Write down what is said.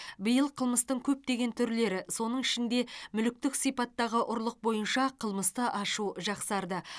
биыл қылмыстың көптеген түрлері соның ішінде мүліктік сипаттағы ұрлық бойынша қылмысты ашу жақсарды